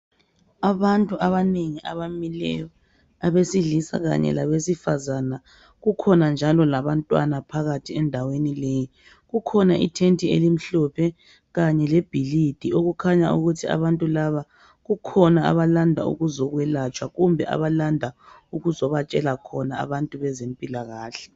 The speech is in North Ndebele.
Abantu abanengi abamileyo abesilisa kanye labesifazana kukhona njalo labantwana phakathi endaweni leyi kukhona ithenti elimhlophe kanye lebhilidi okukhanya ukuthi abantu laba kukhona abalanda ukuzokwelatshwa kumbe abalanda ukuzobatsela khona abezempilakahle.